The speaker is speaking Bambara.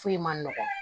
Foyi ma nɔgɔn